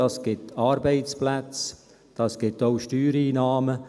Dies gibt Arbeitsplätze, das ergibt auch Steuereinnahmen.